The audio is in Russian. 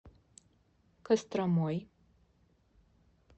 костромой